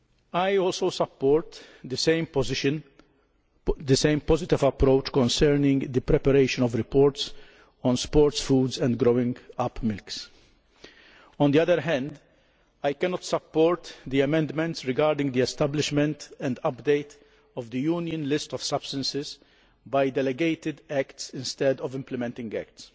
I also support the same positive approach concerning the preparation of reports on sports foods and growing up milks. On the other hand, I cannot support the amendments regarding the establishment and update of the Union list of substances by delegated acts instead of implementing acts.